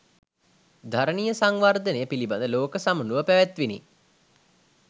ධරණීය සංවර්ධනය පිළිබඳව ලෝක සමුළුව පැවැත්විණි